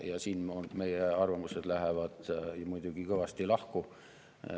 Ja siin lähevad meie arvamused muidugi kõvasti lahku.